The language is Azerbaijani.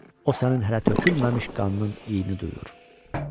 O sənin hələ tökülməmiş qanının iyini duyur.